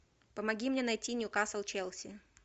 помоги мне найти ньюкасл челси